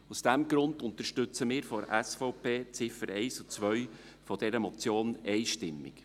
Aus diesem Grund unterstützen wir von der SVP die Ziffern 1 und 2 dieser Motion einstimmig.